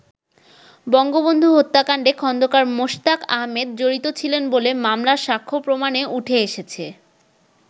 বঙ্গবন্ধু হত্যাকান্ডে খন্দকার মোশতাক আহমেদ জড়িত ছিলেন বলে মামলার সাক্ষ্য প্রমাণে উঠে এসেছে।